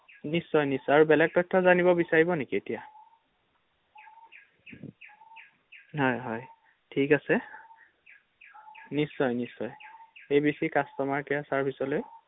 নিশ্চয় নিশ্চয় আৰু বেলেগ তথ্য জানিব বিচাৰিব নেকি এতিয়া? হয় হয় থিক আছে ৷নিশ্চয় নিশ্চয় A B C customer care চাৰ্ভিচলৈ ৷